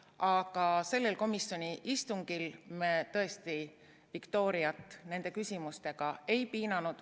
Aga sellel komisjoni istungil me tõesti Viktoriat nende küsimustega ei piinanud.